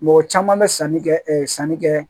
Mɔgɔ caman bɛ sanni kɛ sanni kɛ